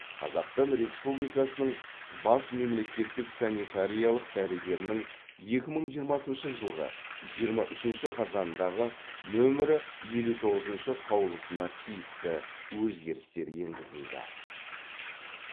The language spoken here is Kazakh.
қазақстан республикасының бас мемлекеттік санитариялық дәрігерінің екі мың жиырмасыншы жылғы жиырма үшінші қазандағы нөмірі елу тоғызыншы қаулысына тиісті өзгерістер енгзілді